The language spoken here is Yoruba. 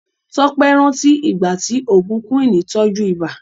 Tọ́pé rántí ìgbà tí oògùn Quinn tọ́jú ibà.